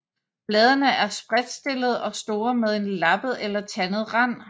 Bladene er spredtstillede og store med en lappet eller tandet rand